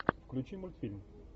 включи мультфильм